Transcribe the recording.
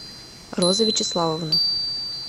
роза вячеславовна